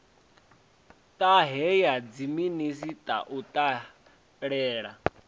ṱahe ya dziminisiṱa u dalela